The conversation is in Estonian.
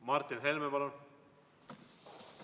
Martin Helme, palun!